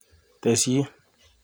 Tesyi